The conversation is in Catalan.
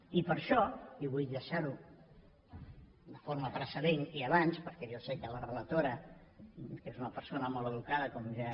i per això i vull deixar ho de forma precedent i abans perquè jo sé que la relatora que és una persona molt educada com ja